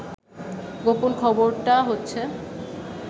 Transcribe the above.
গোপন খবরটা হচ্ছে